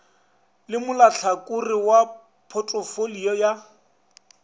le molahlakore wa photofolio ya